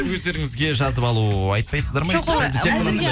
өздеріңізге жазып алу айтпайсыздар ма